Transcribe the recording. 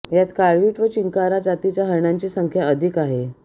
यात काळवीट व चिंकारा जातीच्या हरणांची संख्या अधिक आहे